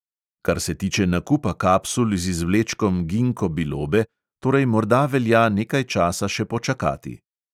Kar se tiče nakupa kapsul z izvlečkom ginko bilobe, torej morda velja nekaj časa še počakati!